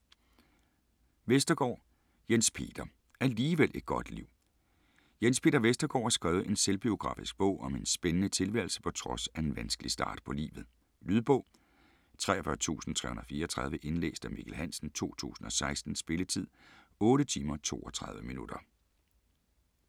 Vestergaard, Jens Peter: Alligevel et godt liv Jens Peter Vestergaard har skrevet en selvbiografisk bog om en spændende tilværelse på trods af en vanskelig start på livet. Lydbog 43334 Indlæst af Mikkel Hansen, 2016. Spilletid: 8 timer, 32 minutter.